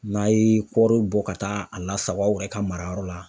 N'a ye kɔɔri bɔ ka taa a lasago aw yɛrɛ ka mara yɔrɔ la.